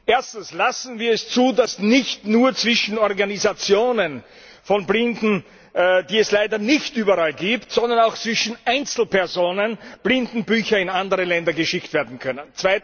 Erstens Lassen wir es zu, dass nicht nur zwischen Organisationen von Blinden, die es leider nicht überall gibt, sondern auch zwischen Einzelpersonen Blindenbücher in andere Länder geschickt werden können!